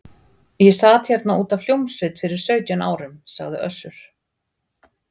Ég sat hér út af hljómsveit fyrir sautján árum, sagði Össur.